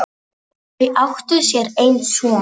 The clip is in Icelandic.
Þau áttu sér einn son.